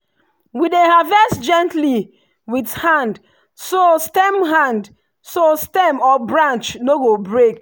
we dey harvest gently with hand so stem hand so stem or branch no go break.